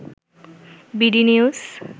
BD news